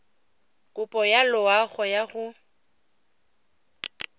kopo ya loago ya go